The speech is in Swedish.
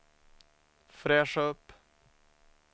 fräscha upp